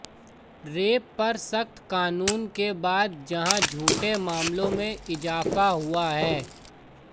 rape पर सख्त कानून के बाद जहां झूठे मामलों में इजाफा हुआ है